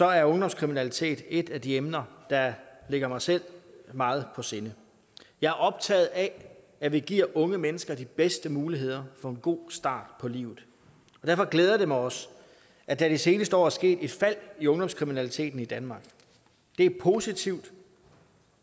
er ungdomskriminalitet et af de emner der ligger mig selv meget på sinde jeg er optaget af at vi giver unge mennesker de bedste muligheder for en god start på livet derfor glæder det mig også at der de seneste år er sket et fald i ungdomskriminaliteten i danmark det er positivt